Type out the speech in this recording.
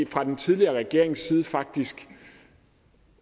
fra den tidligere regerings side faktisk